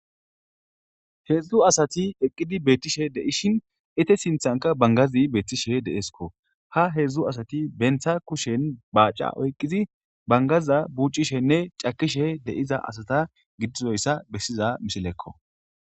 heedzdzu asati eqqidi beettishe deishin ete sinthanka bangazi beettishe deesko ha heedzdzu asati bentha kushen baaca oyqqizi bangaza buuccishenne cakishe de7iza asata giddizoyssa bessiza misilekko